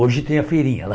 Hoje tem a feirinha lá.